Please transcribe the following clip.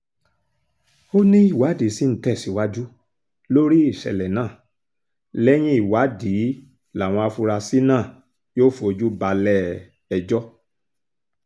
ó níwádìí sì ń tẹ̀síwájú lórí ìṣẹ̀lẹ̀ náà lẹ́yìn ìwádìí làwọn afurasí náà yóò fojú balẹ̀-ẹjọ́